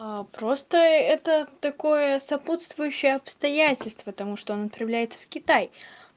а просто это такое сопутствующее обстоятельства потому что он отправляется в китай